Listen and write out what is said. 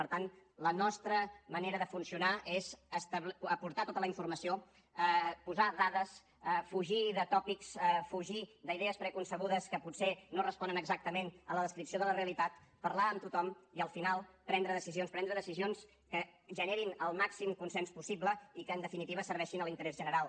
per tant la nostra manera de funcionar és aportar tota la informació posar dades fugir de tòpics fugir d’idees preconcebudes que potser no responen exactament a la descripció de la realitat parlar amb tothom i al final prendre decisions prendre decisions que generin el màxim consens possible i que en definitiva serveixin a l’interès general